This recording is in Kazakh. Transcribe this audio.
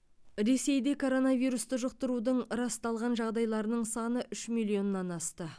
ресейде коронавирусты жұқтырудың расталған жағдайларының саны үш миллионнан асты